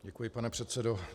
Děkuji, pane předsedo.